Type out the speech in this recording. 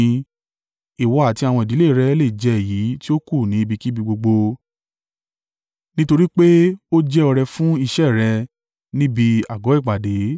Ìwọ àti àwọn ìdílé rẹ̀ le jẹ èyí tí ó kù ní ibikíbi gbogbo. Nítorí pé ó jẹ́ ọrẹ fún iṣẹ́ rẹ níbi àgọ́ ìpàdé.